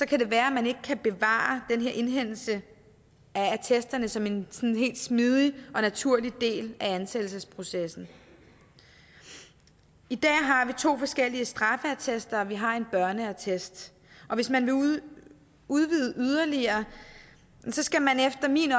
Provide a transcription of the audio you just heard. kan det være at man ikke kan bevare den her indhentelse af attesterne som en helt smidig og naturlig del af ansættelsesprocessen i dag har vi to forskellige straffeattester og vi har en børneattest og hvis man vil udvide det yderligere skal man efter min